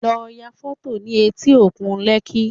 Lọ ya fọ́tò nih etí òkun Lekki